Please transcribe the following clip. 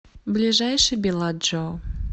ближайший беладжио